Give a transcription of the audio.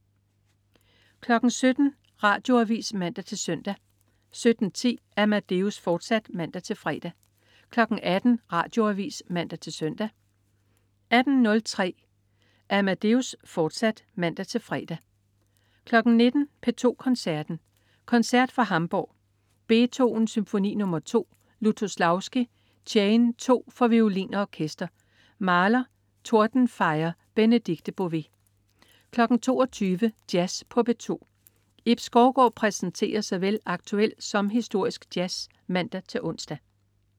17.00 Radioavis (man-søn) 17.10 Amadeus, fortsat (man-fre) 18.00 Radioavis (man-søn) 18.03 Amadeus, fortsat (man-fre) 19.00 P2 Koncerten. Koncert fra Hamburg. Beethoven: Symfoni nr. 2. Lutoslawski: Chain 2 for violin og orkester. Mahler: Totenfeier. Benedikte Bové 22.00 Jazz på P2. Ib Skovgaard præsenterer såvel aktuel som historisk jazz (man-ons)